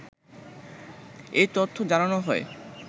এই তথ্য জানানো হয়